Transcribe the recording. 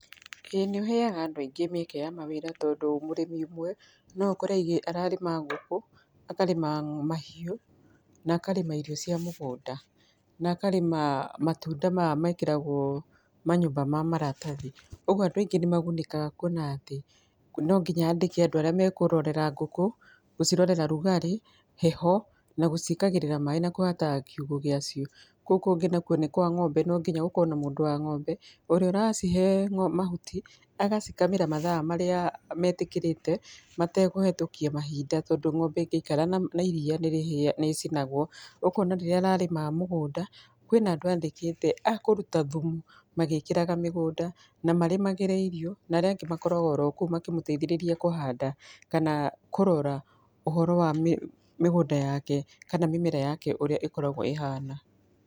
Ĩĩ nĩ ũheaga andũ aingĩ mĩeke ya mawĩra tondũ mũrĩmi ũmwe no ũkore aigĩ, ararĩma ngũkũ, akarĩma mahiũ na akarĩma irio cia mũgunda, na akarĩma matunda maya mekĩragwo manyũmba ma maratathi. Ũgwo andũ aingĩ nĩmagunĩkaga kwona atĩ nonginya andĩke andũ arĩa mekũrorera ngũkũ, gũcirorera rugarĩ, heho na gũciĩkagĩrĩra maaĩ na kũhataga kiugũ gĩacio. Kũu kũngĩ nakwo nĩ kwa ng'ombe, nonginya gũkorwo na mũndũ wa ng'ombe, ũrĩa ũracihe mahuti, agacikamĩra mathaa marĩa metikĩrĩte matekũhetũkia mahinda tondũ ng'ombe ingĩikara na iria nĩrĩhĩ, nĩ icinagwo. Ũkona rĩrĩa ararĩma mũgũnda, kwĩna andũ andĩkĩte a kũruta thumu magĩkagĩra mĩgũnda, na marĩmagĩre irio, na arĩa angĩ makoragwo oro kũu makĩmũteithĩrĩria kũhanda, kana kũrora ũhoro wa mĩ, mĩgũnda yake kana mĩmera yake ũrĩa ĩkoragwo ĩhana.